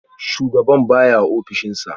Shugaban baya a ofishinsa